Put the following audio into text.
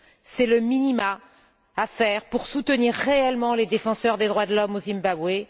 C'est le minimum à faire pour soutenir réellement les défenseurs des droits de l'homme au Zimbabwe.